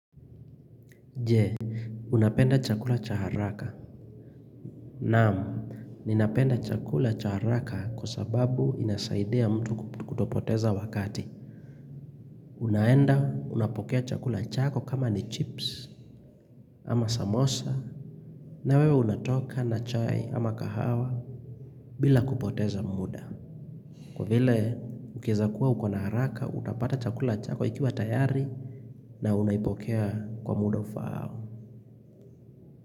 Je, unapenda chakula cha haraka. Naam, ninapenda chakula cha haraka kwa sababu inasaidia mtu kutopoteza wakati. Unaenda, unapokea chakula chako kama ni chips ama samosa. Na wewe unatoka na chai ama kahawa bila kupoteza muda. Kwa vile, ukieza kuwa uko na haraka, utapata chakula chako ikiwa tayari na unaipokea kwa muda ufaao.